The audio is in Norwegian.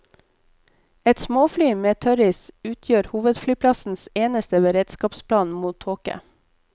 Et småfly med tørris utgjør hovedflyplassens eneste beredskapsplan mot tåke.